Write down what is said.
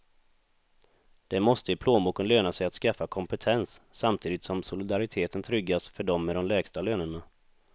Det måste i plånboken löna sig att skaffa kompetens, samtidigt som solidariteten tryggas för dem med de lägsta lönerna.